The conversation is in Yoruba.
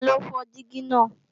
Taló fọ́ dígí náà